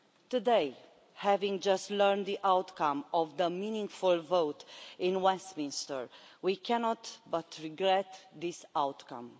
Today, having just learned the outcome of the meaningful vote in Westminster, we cannot but regret this outcome.